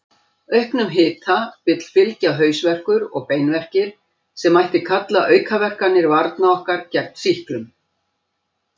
Auknum hita vill fylgja hausverkur og beinverkir, sem mætti kalla aukaverkanir varna okkar gegn sýklum.